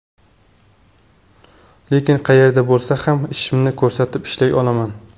Lekin qayerda bo‘lsa ham, ishimni ko‘rsatib, ishlay olaman.